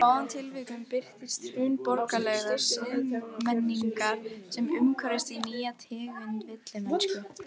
Aðrar upplýsingar: Bretinn býr í rauða húsinu.